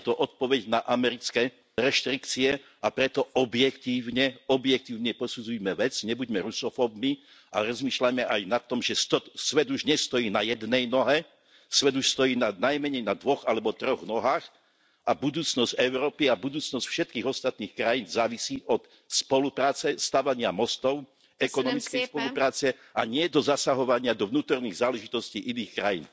Je to odpoveď na americké reštrikcie, a preto objektívne, objektívne posudzujme vec, nebuďme rusofóbmi, a rozmýšľajme aj nad tým, že svet už nestojí na jednej nohe, svet už stojí na najmenej dvoch alebo troch nohách a budúcnosť Európy a budúcnosť všetkých ostatných krajín závisí od spolupráce, stavania mostov, ekonomickej spolupráce a nie od zasahovania do vnútorných záležitostí iných krajín.